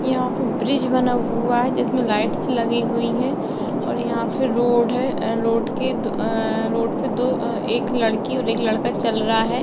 यहाँ पे ब्रिज बना हुवा है जिसमे लाइट्स लगी हुई हैं और यहाँ पे रोड है और रोड के दो अ रोड पे दो एक लड़की और एक लड़का चल रहा है।